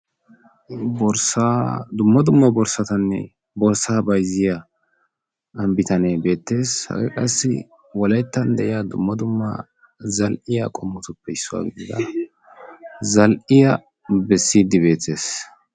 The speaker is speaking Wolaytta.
borssaa bayzziya bitanee dumma dumma borsata issippe shiishidi nuussi bayzanawu giyan eqiis. qassikka sa'an sharan hiixxi wottiis.